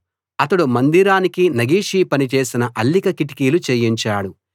అతడు మందిరానికి నగిషీ పని చేసిన అల్లిక కిటికీలు చేయించాడు